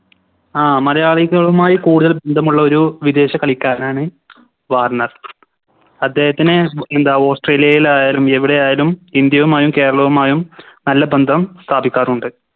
ആ മലയാളികളുമായി കൂടുതൽ ബന്ധമുള്ള ഒരു വിദേശ കളിക്കാരനാണ് വാർണർ അദ്ദേഹത്തിന് എന്താ ഓസ്‌ട്രേലിലയിൽ ആയാലും ഇന്ത്യയുമായും കേരളവുമായും നല്ല ബന്ധം സ്ഥാപിക്കാറുണ്ട്